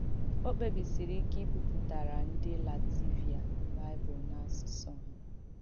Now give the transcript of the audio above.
Ọ̀ kpèbìsìrī ìkẹ ìbipùtàrà ndị Làtvià Baịbụl n’àsùsụ̀ ha.